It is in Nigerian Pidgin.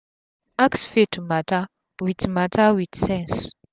ask faith mata with mata with sense